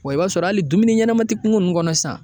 Wa i b'a sɔrɔ hali dumuni ɲɛnama ti kunko nunnu kɔnɔ sisan.